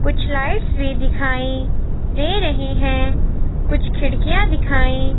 कुछ लाइट्स भी दिखाई दे रही हैं कुछ खिड़कियाँ दिखाई--